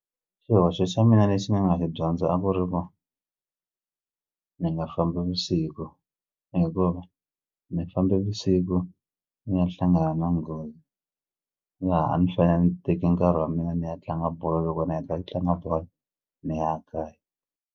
Xihoxo xa mina lexi ni nga xi dyondza a ku ri ku ni nga fambi vusiku hikuva ni fambe vusiku ni ya hlangana na nghozi laha a ni fanele ni teke nkarhi wa mina ni ya tlanga bolo loko ni heta ku tlanga bolo ni ya kaya.